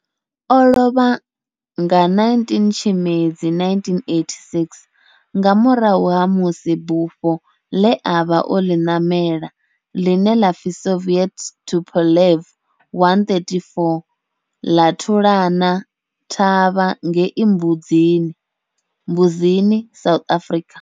O lovha nga 19 Tshimedzi 1986 nga murahu ha musi bufho le a vha o li namela, line la pfi Soviet Tupolev 134 la thulana thavha ngei Mbuzini, South Africa.